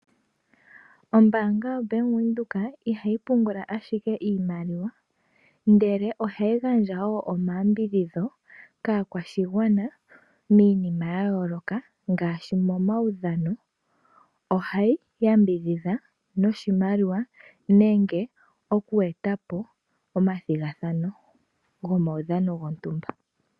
Ombanga yo Bank Windhoek ihayi pungula ashike iimaliwa , ndele ohayi gandja omayambidhidho kaakwashigwana miinima yayoloka ngaashi momaudhano. Ohayi oyambidhidha noshimaliwa nenge okwetapo omathigathano gomaudhano gontumba.